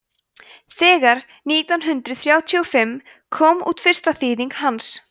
þegar nítján hundrað þrjátíu og fimm kom út fyrsta þýðing hans